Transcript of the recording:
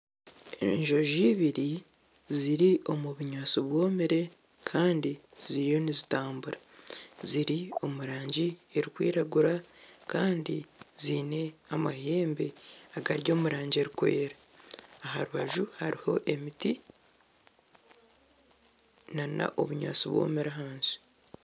Enjojo ibiri ziri omu bunyaatsi bwomire kandi ziriyo nizitambura, ziri omu rangi erikwiragura kandi ziine amahembe agari omu rangi erikwera aha rubaju hariho emiti na n'obunyaatsi bwomire ahansi.